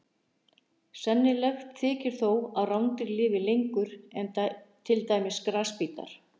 Sennilegt þykir þó að rándýr lifi lengur en til dæmis grasbítar.